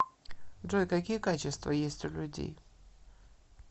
джой какие качества есть у людей